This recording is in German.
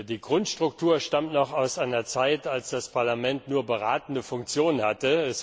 Die Grundstruktur stammt noch aus einer Zeit, als das Parlament nur beratende Funktion hatte.